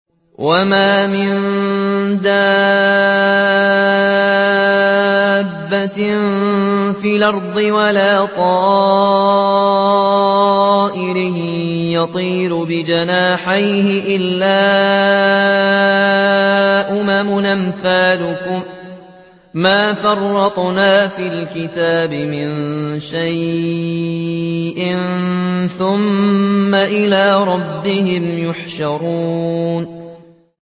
وَمَا مِن دَابَّةٍ فِي الْأَرْضِ وَلَا طَائِرٍ يَطِيرُ بِجَنَاحَيْهِ إِلَّا أُمَمٌ أَمْثَالُكُم ۚ مَّا فَرَّطْنَا فِي الْكِتَابِ مِن شَيْءٍ ۚ ثُمَّ إِلَىٰ رَبِّهِمْ يُحْشَرُونَ